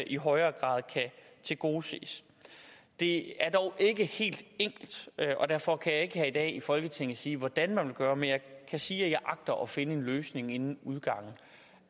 i højere grad kan tilgodeses det er dog ikke helt enkelt og derfor kan jeg ikke her i dag i folketinget sige hvordan man vil gøre men jeg kan sige at jeg agter at finde en løsning inden udgangen